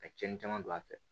Ka cɛnni caman don a fɛ